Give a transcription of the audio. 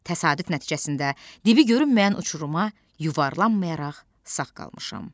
Təsadüf nəticəsində dibi görünməyən uçuruma yuvarlanmayaraq sağ qalmışam.